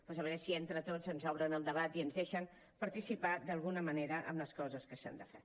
doncs a veure si entre tots ens obren el debat i ens deixen participar d’alguna manera en les coses que s’han de fer